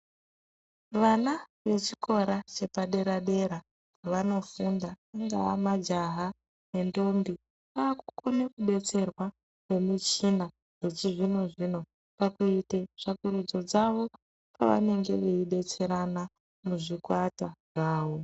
Vana vechikora chepadera-dera vanofunda ungaa majaha nendombi vakukone kubetserwa ngemichina yechizvino-zvino pakuite tsvakurudzo dzavo pavanenge veidetserana muzvikwata zvavo.